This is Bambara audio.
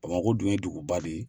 Bamakɔ dun ye dugu ba de ye.